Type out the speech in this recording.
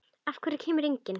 Af hverju kemur enginn?